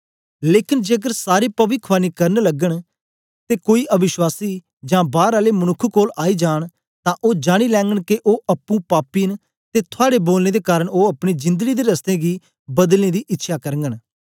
लेकन जेकर सारे पविखवाणी करन लगन ते कोई अवश्वासी जां बार आले मनुक्ख कोल आई जांन तां ओ जानी लैगन के ओ अप्पुं पापी न ते थुआड़े बोलनें दे कारन ओ अपनी जिंदड़ी दे रस्तें गी बदलने दी इच्छ्यां करगन